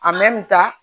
ta